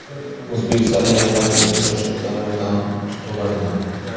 O‘zbekiston–Iordaniya uchrashuvida maydon to‘ladimi?.